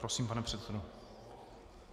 Prosím, pane předsedo.